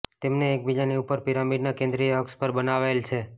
તેમને એકબીજાની ઉપર પિરામિડના કેન્દ્રીય અક્ષ પર બનાવાયેલ છે